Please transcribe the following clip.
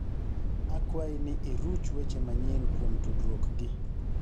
akwayi ni iruch weche manyien kuom tudruokgi